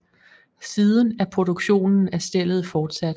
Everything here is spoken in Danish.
Siden er produktionen af stellet fortsat